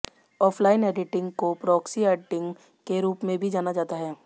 offline editing को proxy editing के रूप में भी जाना जाता है